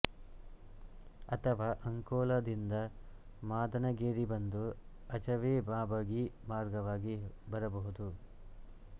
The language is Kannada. ಅಥವಾ ಅಂಕೋಲಾ ದಿಂದ ಮಾದನಗೇರಿಬಂದು ಅಚವೆ ಮಾಬಗಿ ಮಾರ್ಗವಾಗಿ ಬರಬಹುದು